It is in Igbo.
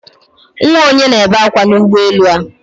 Nwa ònye na-ebe akwa n'ụgbọelu a?